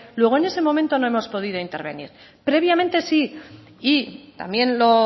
luego en ese momento no hemos podido intervenir previamente sí y también lo